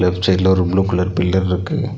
Left சைட்ல ஒரு blue colour பில்லர்ருக்கு .